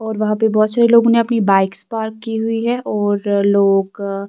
.اور وہا پی بہت سارے لوگو نے اپنی بکس پارک ا کی ہی ہیں اورا لوگ